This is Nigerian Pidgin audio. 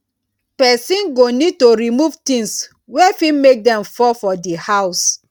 person go need to remove things wey fit make dem fall for di house